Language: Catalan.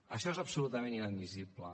això és absolutament inadmissible